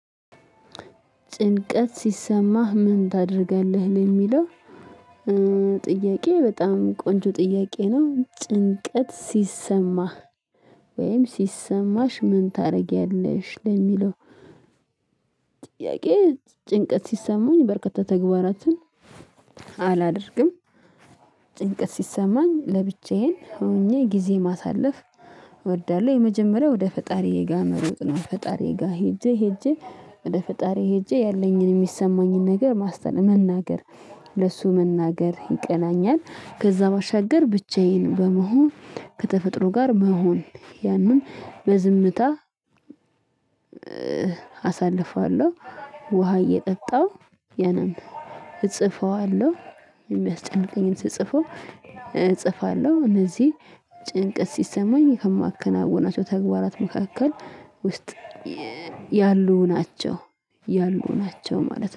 ጭንቀት ሲሰማህ ምን ታደርጋለህ ለሚለው? ጥያቄ በጣም ቆንጆ ጥያቄ ነው ጭንቀት ሲሰማህ ወይም ሲሰማሽ ምን ታረጊያለሽ ለሚለው? ጥያቄ ጭንቀት ሲሰሙኝ በርከት ተግባራትን አላደርግም ጭንቀት ሲሰማኝ ለብቻዬን ሆኜ ጊዜ ማሳለፍ እወዳለሁ። የመጀመሪያው ወደ ፈጣሪዬ ጋር መሮጥ ነው። ፈጣሪዬ ጋር ሄጄ ሄጄ ወደ ፈጣሪዬ ሄጄ ያለኝን የሚሰማኝን ነገር ማስተን መናገር ለሱ መናገር ይቀናኛል። ከዛ ባሻገር ብቻዬን በመሆን ከተፈጥሮ ጋር መሆን ያንን በዝምታ አሳልፈዋለሁ። ውሃ እየጠጣሁ ያነም እጽፈዋለሁ። የሚያስጨንቀኝን ስጽፈው እጽፋለሁ። ለዚህ ጭንቀት ሲሰማኝ ከማከናውናቸው ተግባራት መካከል ውስጥ ያሉ ናቸው ያሉ ናቸው ማለት ነው